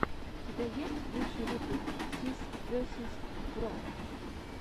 у тебя есть лучший выпуск сис весиз бро